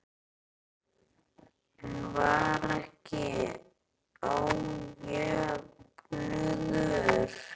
En var ekki ójöfnuður?